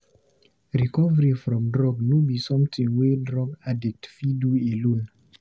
Recovery from drug no be somtin wey drug addict fit do alone.